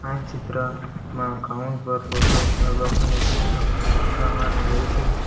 આ ચિત્રમાં પર ફોટો આલ્બમ અને પુસ્તક રાખવામાં આવે છે.